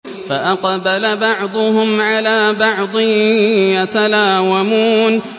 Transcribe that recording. فَأَقْبَلَ بَعْضُهُمْ عَلَىٰ بَعْضٍ يَتَلَاوَمُونَ